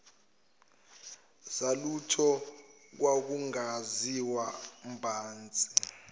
zalutho kwakungaziwa mbhantshi